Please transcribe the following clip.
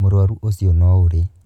Mũrũaru ũcio nourĩ.